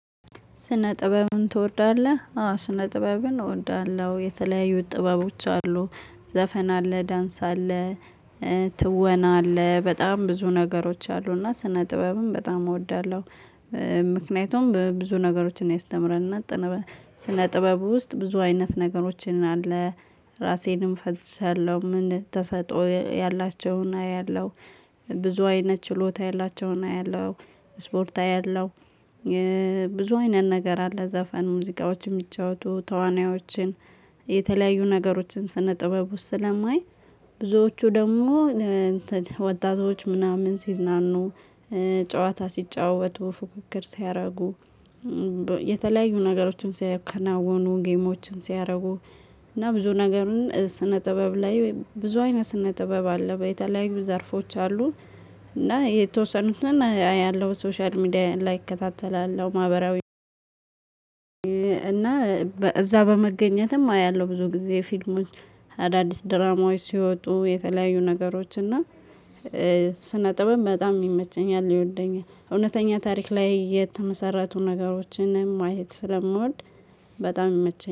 ስነ ጥበብን ትወዳለህ አዎ ስነ ጥበብን እወዳለሁ። የተለያዩት ጥበቦች አሉ ዘፈን አለ ዳንስ አለ ትወና አለ በጣም ብዙ ነገሮች አሉ እና ስነ ጥበብን በጣም እወዳለሁ። ምክንያቱም ብዙ ነገሮችን ያስተምረል እና ስነ ጥበብ ውስጥ ብዙ አይነት ነገሮችን አለ ራሴንም እፈልትሻለው ምን ተሰጥኦ ያላቸውን አያለሁ። ብዙ አይነት ችሎታ ያላቸውን አያለሁ ስፖርት አያለሁ። ብዙ አይነት ነገር አለ ዘፈን ሙዚቃዎች የሚጫወቱ ተዋናዮችን የተለያዩ ነገሮችን ስነ ጥበብ ውስጥ ስለማይ። ብዙዎቹ ደግሞ ወጣቶች ምናምን ሲዝናኑ ጨዋታ ሲጫወቱ ፉክክር ሲያደርጉ። የተለያዩ ነገሮችን ሲያከናውኑ ጌሞችን ሲያደርጉ። እና ብዙ ነገሩን ስነ ጥበብ ላይ ወይም ብዙ አይነት ስነ ጥበብ አለ የተለያዩ ዘርፎች አሉ። እና የተወሰኑትን አያለው ሶሻል ሚዲያ ላይ እከታተላለው ማህበራዊ። እና እዛ በመገኘትም አያለሁ ብዙ ጊዜ ፊልሞች። አዳዲስ ድራማዎች ሲወጡ የተለያዩ ነገሮች እና ስነ ጥበብ በጣም ይመቸኛል ይወደኛል። እውነተኛ ታሪክ ላይ የተመሰረቱ ነገሮችን ማየት ስለምወድ በጣም ይመቸኛል